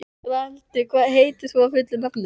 Reynhildur, hvað heitir þú fullu nafni?